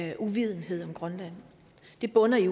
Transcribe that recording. i uvidenhed om grønland det bunder i